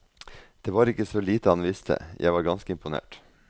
Det var ikke så lite han visste, jeg var ganske imponert.